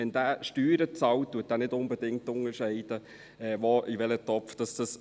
Wenn er Steuern bezahlt, unterscheidet er nicht unbedingt, in welchen Topf diese fallen.